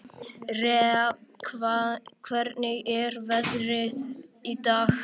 Rea, hvernig er veðrið í dag?